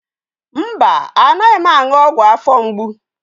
Mba, anaghị m aṅụ ọgwụ afọ mgbu.